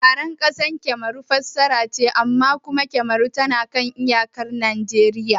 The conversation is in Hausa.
Yaren ƙasar Kamaru Faransa ce amma kuma Kamaru tana kan iyaka da Nijeriya